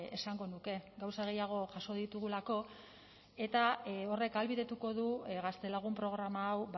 esango nuke gauza gehiago jaso ditugulako eta horrek ahalbidetuko du gaztelagun programa hau